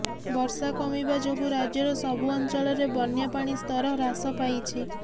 ବର୍ଷା କମିବା ଯୋଗୁ ରାଜ୍ୟର ସବୁ ଅଞ୍ଚଳରେ ବନ୍ୟାପାଣି ସ୍ତର ହ୍ରାସ ପାଇଛି